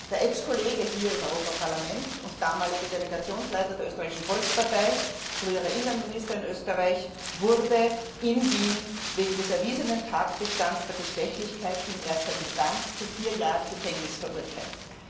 Der Ex Kollege hier im Europaparlament und damalige Delegationsleiter der Österreichischen Volkspartei, früherer Innenminister in Österreich, wurde in Wien wegen des erwiesenen Tatbestands der Bestechlichkeit in erster Instanz zu vier Jahren Gefängnis verurteilt.